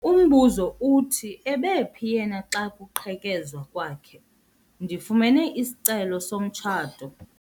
Umbuzo uthi ebephi yena xa kuqhekezwa kwakhe? ndifumene isicelo somtshato